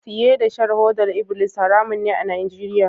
Siye da shan hodar ibilis haramun ne a Nigeria.